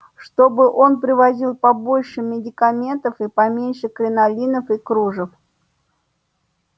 чтобы он привозил побольше медикаментов и поменьше кринолинов и кружев